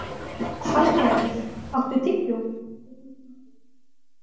Salgerður, áttu tyggjó?